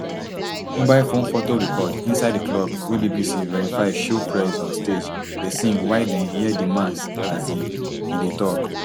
mobile phone foto record inside di club wey bbc verify show prez on stage dey sing while dem hear di man as e e dey tok